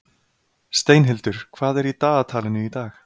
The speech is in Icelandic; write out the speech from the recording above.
Steinhildur, hvað er í dagatalinu í dag?